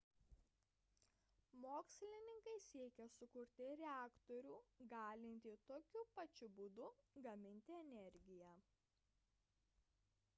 mokslininkai siekia sukurti reaktorių galintį tokiu pačiu būdu gaminti energiją